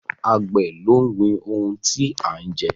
Àgbẹ̀ ló ń gbin ohun tí a ń jẹ